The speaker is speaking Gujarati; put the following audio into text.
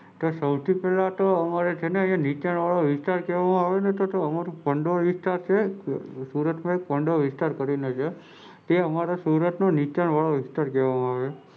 મને જ્યારે સુધી ખબર છે તો બેહજારચૌધ ના તો બધું પાણી છે ને ઘટર માં થી આવેલું.